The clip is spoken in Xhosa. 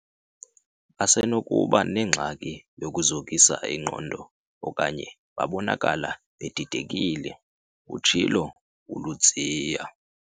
"Basenokuba nengxaki yokuzokisa ingqondo okanye babonakala bedidekile, "utshilo uLudziya.